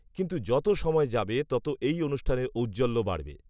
কিন্তু যত সময় যাবে তত এই অনুষ্ঠানের ঔজ্জ্বল্য বাড়বে